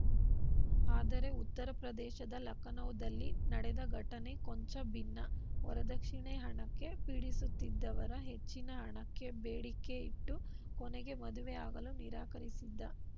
ಆದರೆ ಉತ್ತರ ಪ್ರದೇಶದ ಲಖನೌದಲ್ಲಿ ನಡೆದ ಘಟನೆ ಕೊಂಚ ಭಿನ್ನ ವರದಕ್ಷಿಣೆ ಹಣಕ್ಕೆ ಪೀಡಿಸುತ್ತಿದ್ದ ವರ ಹೆಚ್ಚಿನ ಹಣಕ್ಕೆ ಬೇಡಿಕೆ ಇಟ್ಟು ಕೊನೆಗೆ ಮದುವೆ ಆಗಲು ನಿರಾಕರಿಸಿದ್ದ